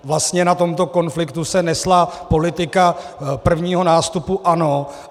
Vlastně na tomto konfliktu se nesla politika prvního nástupu ANO.